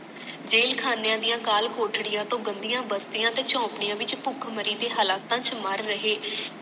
jail ਖਾਣੀਆਂ ਦੀਆਂ ਕਾਲ ਕੋਠੜੀਆਂ ਤੋਂ ਗੰਦੀਆਂ ਬਸਤੀਆਂ ਤੇ ਝੌਂਪੜੀਆਂ ਵਿੱਚ ਭੁੱਖਮਰੀ ਦੇ ਹਾਲਾਤਾਂ ਵਿੱਚ ਮਰ ਰਹੇ